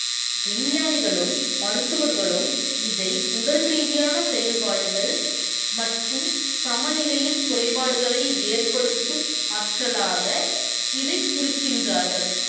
விஞ்ஞானிகளும், மருத்துவர்களும் இதை உடல் ரீதியான செயல்பாடுகள் மற்றும் சம நிலையில் குறைபாடுகளை ஏற்படுத்தும் ஆற்றலாக இதைக் குறிக்கின்றார்கள்.